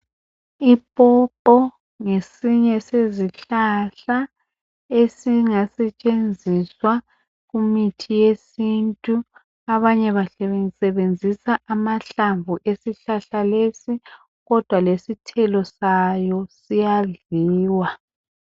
Ipopo ngesinye sezihlahla ezingasetshenziswa kumithi yesintu. Abanye basebenzisa amahlamvu ezihlahla lesi kodwa lesithelo salosiyadliwa.